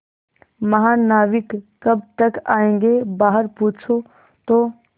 महानाविक कब तक आयेंगे बाहर पूछो तो